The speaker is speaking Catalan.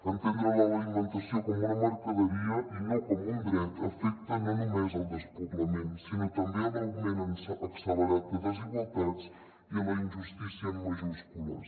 entendre l’alimentació com una mercaderia i no com un dret afecta no només el despoblament sinó també l’augment accelerat de desigualtats i la injustícia en majúscules